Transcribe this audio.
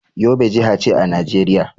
Yobe jiha ce a Najeriya.